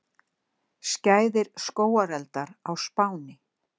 Skæðir skógareldar á Spáni